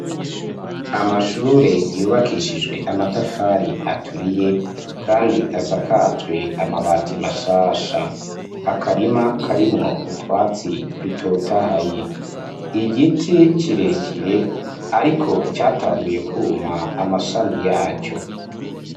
Amashure yubakishijwe amatafari aturiye kandi asakajwe amabati mashasha. Akarima karimwo utwatsi dutotahaye. Igiti kirekire ariko catanguye kwuma amashami yaco.